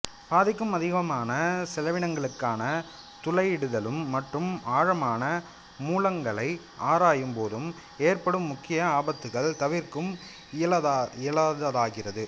பாதிக்கும் அதிகமான செலவினங்களுக்கான துளையிடுதலும் மற்றும் ஆழமான மூலங்களை ஆராயும் போதும் ஏற்படும் முக்கிய ஆபத்துக்கள் தவிர்க்க இயலாததாகிறது